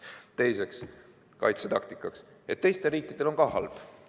Teiseks, kaitsetaktika, et teistel riikidel on ka halb.